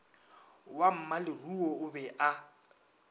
wa mmaleruo o be o